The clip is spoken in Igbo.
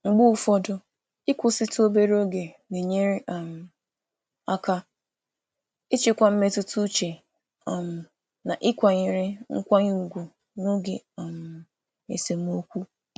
Mgbe ụfọdụ, ịnwe ntakịrị oge izu ike na-enyere aka jikwaa jikwaa mmetụta uche ma nọgide na-enwe nkwanye ùgwù n’oge esemokwu.